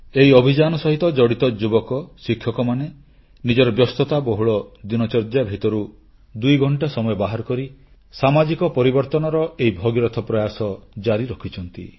ଏହି ଅଭିଯାନ ସହିତ ଜଡ଼ିତ ଯୁବକ ଶିକ୍ଷକମାନେ ନିଜର ବ୍ୟସ୍ତତାବହୁଳ ଦିନଚର୍ଯ୍ୟା ଭିତରୁ 2 ଘଂଟା ସମୟ ବାହାର କରି ସାମାଜିକ ପରିବର୍ତ୍ତନର ଏହି ଭଗୀରଥ ପ୍ରୟାସ ଜାରି ରଖିଛନ୍ତି